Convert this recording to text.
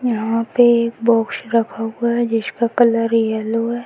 यहाँ पे एक बॉक्स रखा हुआ है जिसका कलर येलो है।